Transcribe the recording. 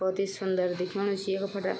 भोत ही सुन्दर दिखेणु च यख फंड।